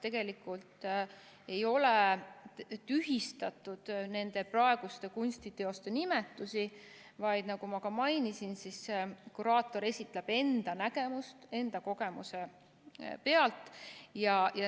Tegelikult ei ole tühistatud nende praeguste kunstiteoste nimetusi, vaid, nagu ma ka mainisin, kuraator esitab enda nägemuse enda kogemuse pealt.